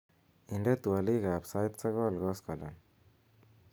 inde twolik ab sait sogol koskolen